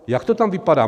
Jak to tam vypadá?